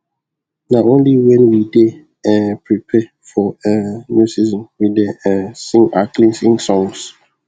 na only when we dey um prepare for um new season we dey um sing our cleansing songs